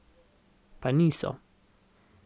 Pa niso.